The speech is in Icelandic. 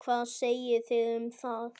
Hvað segið þið um það?